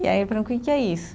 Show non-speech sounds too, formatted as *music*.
E aí, *unintelligible* que que é isso?